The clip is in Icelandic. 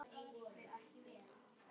Hann starir á hana.